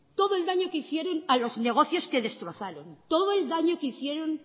todo el daño que hicieron a los negocios que destrozaron todo el daño que hicieron